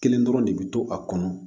Kelen dɔrɔn de bɛ to a kɔnɔ